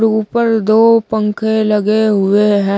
ऊपर दो पंखे लगे हुए हैं।